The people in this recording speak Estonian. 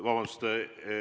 Vabandust!